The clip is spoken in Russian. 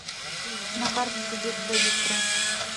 на карте сибирское бистро